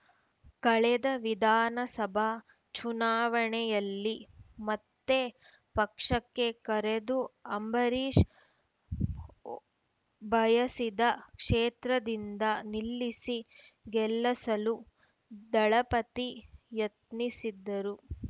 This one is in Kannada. ಕಳೆದ ವಿಧಾನಸಭಾ ಚುನಾವಣೆಯಲ್ಲಿ ಮತ್ತೆ ಪಕ್ಷಕ್ಕೆ ಕರೆದು ಅಂಬರೀಷ್‌ ಬಯಸಿದ ಕ್ಷೇತ್ರದಿಂದ ನಿಲ್ಲಿಸಿ ಗೆಲ್ಲಸಲು ದಳಪತಿ ಯತ್ನಿಸಿದರು